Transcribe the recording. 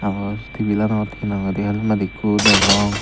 aro tibilanot he nang hoi helmet ekku degong.